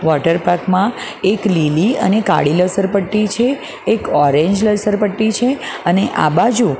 water park માં એક લીલી અને કાળી લસરપટ્ટી છે એક ઓરેન્જ લસરપટ્ટી છે અને આ બાજુ --